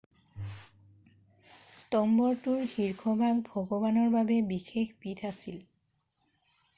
স্তম্ভটোৰ শীৰ্ষভাগ ভগৱানৰ বাবে বিশেষ পীঠ আছিল